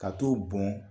Ka t'o bɔn